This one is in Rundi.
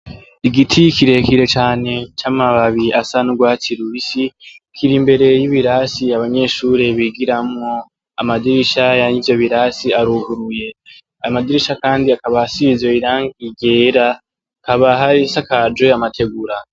Igiti kirekire cane c'amababi asa n'urwatsi lubisi kira imbere y'ibirasi abanyeshuri bigiramwo amadirishaya ni vyo birasi aruguruye amadirisha, kandi akabaha sirize irang igera kaba hari sakajwe amategura.